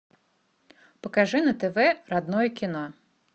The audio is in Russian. покажи на тв родное кино